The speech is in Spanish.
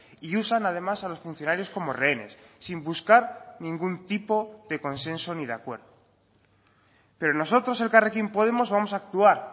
y usan además a los funcionarios como rehenes sin buscar ningún tipo de consenso ni de acuerdo pero nosotros elkarrekin podemos vamos a actuar